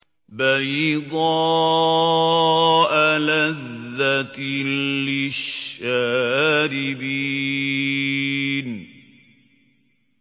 بَيْضَاءَ لَذَّةٍ لِّلشَّارِبِينَ